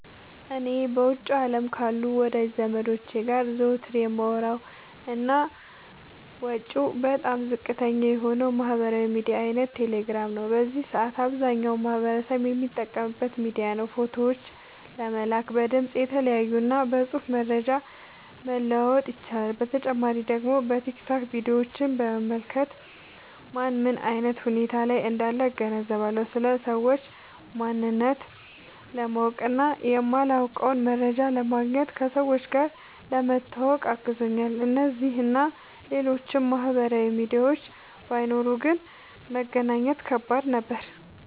እኔ በውጭው አለም ካሉ ወዳጅ ዘመዶቸ ጋር ዘወትር የማወራበት እና ወጪው በጣም ዝቅተኛ የሆነው የማህበራዊ ሚዲያ አይነት ቴሌግራም ነው። በዚህ ሰአት አብዛኛው ማህበረሰብ የሚጠቀምበት ሚዲያ ነው። ፎቶዎችን ለመላላክ፣ በድምፅ(እየተያዩ) እና በፅሁፍ መረጃ መለዋወጥ ይቻላል። በተጨማሪ ደግሞ በቲክቶክ ቪዲዮችን በመመልከት ማን ምን አይነት ሁኔታ ላይ እንዳለ እገነዘብበታለሁ። ስለ ሰዎች ማንነት ለማወቅ እና የማላውቀውን መረጃ ለማግኘት፣ ከሰዎች ጋር ለመተዋወቅ አግዞኛል። እነዚህ እና ሌሎችም ማህበራዊ ሚዲያዎች ባይኖሩ ግን መገናኘት ከባድ ነበር።